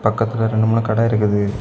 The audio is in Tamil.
பக்கத்துல ரெண்டு மூணு கட இருக்குது.